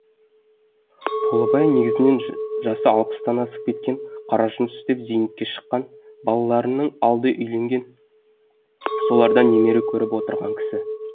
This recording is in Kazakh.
толыбай негізінен жасы алпыстан асып кеткен қара жұмыс істеп зейнетке шыққан балаларының алды үйленген солардан немере көріп отырған кісі